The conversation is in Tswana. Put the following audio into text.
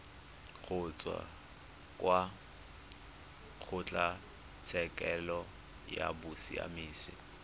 kgotsa kwa kgotlatshekelo ya bosiamisi